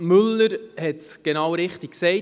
Müller hat es genau richtig gesagt: